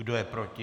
Kdo je proti?